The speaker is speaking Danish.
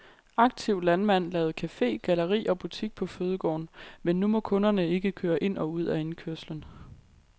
Aktiv landmand lavede cafe, galleri og butik på fødegården nu må kunderne ikke køre ind og ud af indkørslen.